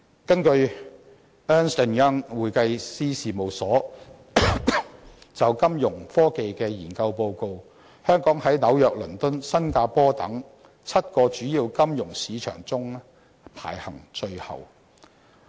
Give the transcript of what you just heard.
根據 Ernst & Young 會計師事務所就金融科技所作的研究報告，香港在紐約、倫敦和新加坡等7個主要金融市場中，排行最後。